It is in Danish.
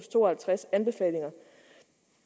to og halvtreds anbefalinger